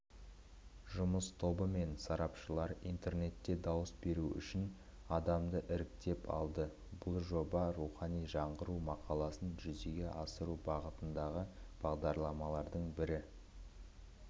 жұмыс тобы мен сарапшылар интернетте дауыс беру үшін адамды іріктеп алды бұл жоба рухани жаңғыру мақаласын жүзеге асыру бағытындағы бағдарламалардың бірі